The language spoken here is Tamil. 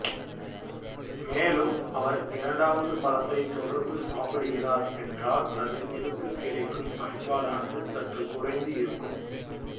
மேலும் அவர் இரண்டாவது பழத்தை தொடர்ந்து சாப்பிடுகிறார் என்றால் அதில் இருந்து கிடைக்கும் பயன்பாடானது சற்று குறைந்து இருக்கும்